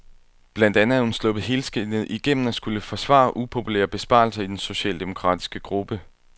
Blandt andet er hun sluppet helskindet igennem at skulle forsvare upopulære besparelser i den socialdemokratiske gruppe.